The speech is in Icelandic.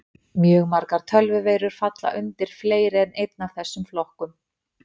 Mjög margar tölvuveirur falla undir fleiri en einn af þessum flokkum.